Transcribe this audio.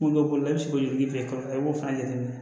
Kungolo la i bɛ se k'o joli kɛ i b'o fana jateminɛ